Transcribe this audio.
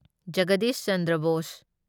Jagdish Chandra Bose